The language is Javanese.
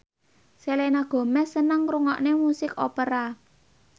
Selena Gomez seneng ngrungokne musik opera